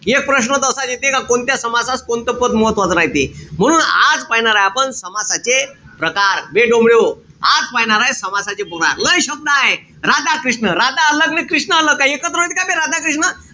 एक प्रश्न त असाच येते का कोणत्या समासास कोणतं पद महत्वाचं नाई ते. म्हणून आज पाहीनारे आपण समासाचे प्रकार. बे डोमड्याहो, आज पायनारे समासाचे प्रकार. लय शब्दय. राधा-कृष्ण, राधा अन कृष्ण एकत्र होते का बे राधा-कृष्ण?